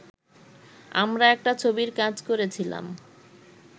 আমরা একটা ছবির কাজ করেছিলাম